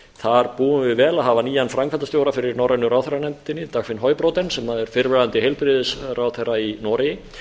þar búum við vel að hafa nýjan framkvæmdastjóra fyrir norrænu ráðherranefndinni dagfinn høybråten sem er fyrrverandi heilbrigðisráðherra í noregi